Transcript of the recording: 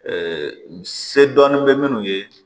se dɔɔnin bɛ minnu ye